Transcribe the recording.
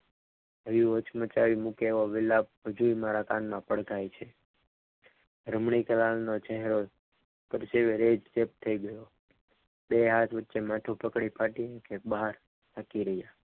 આવી વચમાં ચાવી મુકાવેલી વેલા હજુએ મારા કાનમાં પડઘાય છે રમણીક લાલ નો ચહેરો પરસેવે રેપ જે થઈ ગયો બે હાથ વચ્ચે માથું પકડી ફાટી નીકળ્યું બહાર તાકી રહ્યા.